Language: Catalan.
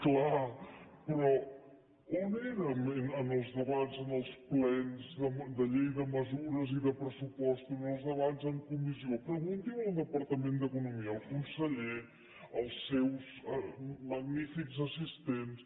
clar però on érem en els debats en els plens de llei de mesures i de pressupostos en els debats en comissió pregunti ho al departament d’economia al conseller als seus magnífics assistents